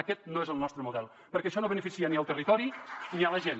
aquest no és el nostre model perquè això no beneficia ni el territori ni la gent